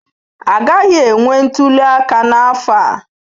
Agaghị enwe ntuli aka n'afọ a?